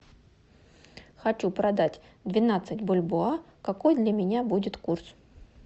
хочу продать двенадцать бальбоа какой для меня будет курс